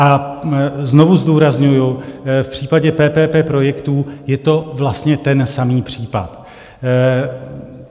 A znovu zdůrazňuji, v případě PPP projektů je to vlastně ten samý případ.